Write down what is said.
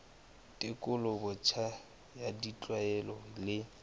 tekolo botjha ya ditlwaelo le